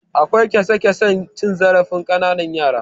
Akwai kyasa-kyasan cin zarafin ƙananan yara.